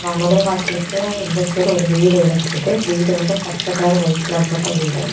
நுழை வாசலுக்கு இந்த சைடு ஒரு வீடிருக்குது வீடு வந்து பச்ச கலர் ஒயிட் கலர் போட்ட வீடு.